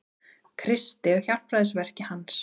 Kristi og hjálpræðisverki hans.